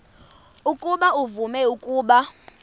ukuba uvume ukuba